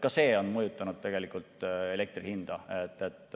Ka see on mõjutanud elektri hinda.